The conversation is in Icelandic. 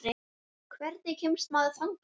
Hvernig kemst maður þangað?